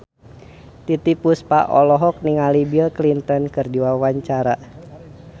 Titiek Puspa olohok ningali Bill Clinton keur diwawancara